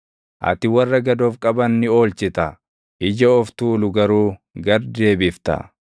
Ati warra gad of qaban ni oolchita; ija of tuulu garuu gad deebifta.